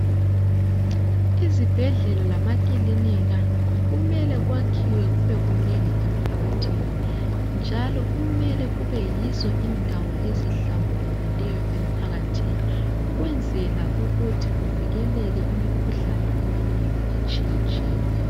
Izibhedlela lamakilinika kumele kwakhiwe kube kunengi emphakathini njalo kumele kube yizo indawo ezihlambulukileyo emphakathini . Ukwenzela ukuthi kuvikeleke imikhuhlane eminengi etshiyetshiyeneyo.